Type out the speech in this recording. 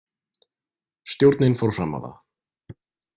Stjórnin fór fram á það.